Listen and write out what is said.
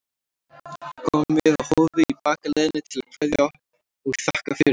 Við komum við á Hofi í bakaleiðinni til að kveðja og þakka fyrir okkur.